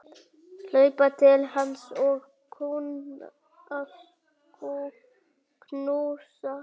Hlaupa til hans og knúsa.